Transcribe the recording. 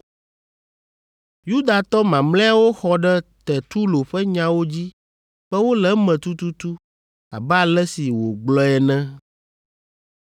Yudatɔ mamlɛawo xɔ ɖe Tertulo ƒe nyawo dzi be wole eme tututu abe ale si wògblɔe ene.